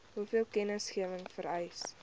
hoeveel kennisgewing vereis